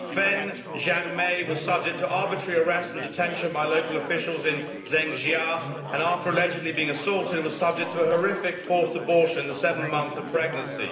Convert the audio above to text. Feng Jianmei was subject to arbitrary arrest and detention by local officials in Zengjia and, after allegedly being assaulted, was subject to a horrific forced abortion in the seventh month of pregnancy.